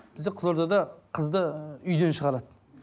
бізде қызылордада қызды ы үйден шығарады